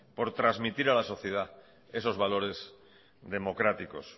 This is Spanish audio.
por transmitir a la sociedad esos valores democráticos